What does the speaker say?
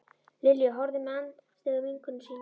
Lilja horfði með andstyggð á vinkonu sína.